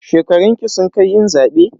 Shekarunki sun kai yin zaɓe?